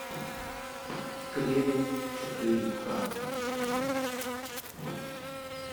кремень четыре ка